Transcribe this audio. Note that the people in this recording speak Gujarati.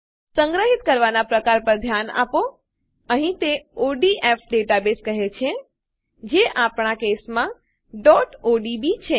સંગ્રહિત કરવાનાં પ્રકાર પર ધ્યાન આપો અહીં તે ઓડીએફ ડેટાબેઝ કહે છે જે આપણા કેસ કિસ્સામાં odb છે